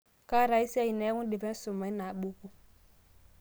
kaata ae siai neeku indipa isuma ina buku